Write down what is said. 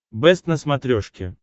бэст на смотрешке